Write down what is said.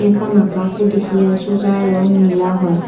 এখন আকাশও দেখি আছোঁ যায় ৰং নীলা হয়।